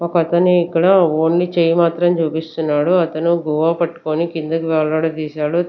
ఒక అతను ఇక్కడ ఓన్లీ చెయ్ మాత్రమే చూపిస్తున్నాడు అతను గోవా పట్కొని కిందకు వేలాడదీశారు.